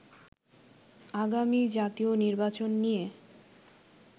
আগামী জাতীয় নির্বাচন নিয়ে